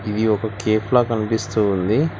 ఇది ఒక కేఫ్ లా కనిపిస్తుంది.